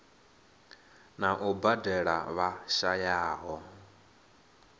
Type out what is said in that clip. na u badela vha shayaho